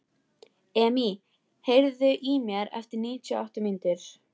Emý, heyrðu í mér eftir níutíu og átta mínútur.